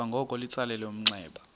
kwangoko litsalele umnxeba